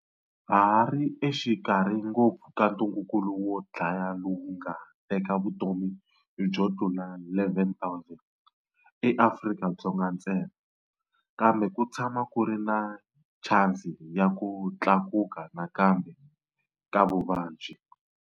Ha hari exikarhi ngopfu ka ntungukulu wo dlaya lowu wu nga teka vutomi byo tlula 11,000 eAfrika-Dzonga ntsena. Kambe ku tshama ku ri na chansi ya ku tlakuka nakambe ka vuvabyi.